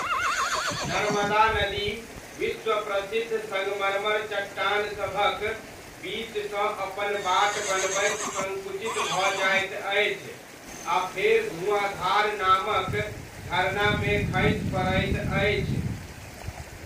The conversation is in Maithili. नर्मदा नदी विश्वप्रसिद्ध सङ्गमरमर चट्टानसभक बीचसँ अपन बाट बनबैत सङ्कुचित भऽ जाइत अछि आ फेर धुआँधार नामक झरनामे खसि पड़ैत अछि।